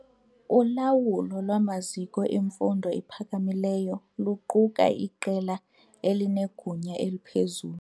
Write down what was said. Ulawulo lwamaziko emfundo ephakamileyo luquka iqela elinegunya eliphezulu.